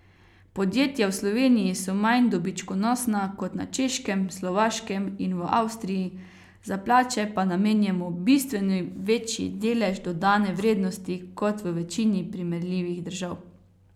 Podjetja v Sloveniji so manj dobičkonosna kot na Češkem, Slovaškem in v Avstriji, za plače pa namenjamo bistveno večji delež dodane vrednosti kot v večini primerljivih držav.